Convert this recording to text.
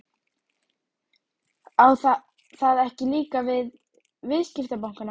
Jónas Margeir Ingólfsson: Á það ekki líka við um viðskiptabankana?